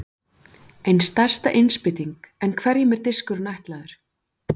Ein stærsta innspýting En hverjum er diskurinn ætlaður?